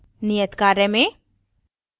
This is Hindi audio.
नियत कार्य में